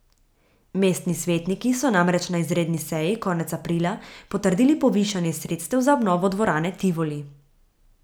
Mestni svetniki so namreč na izredni seji konec aprila potrdili povišanje sredstev za obnovo dvorane Tivoli.